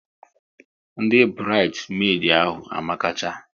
Ndị burides medi ahụ amakacha